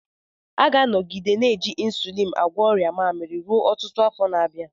A ga-anọgide na-eji ịnsụlịn agwọ ọrịa mmaamiri ruo ọtụtụ afọ na-abịa.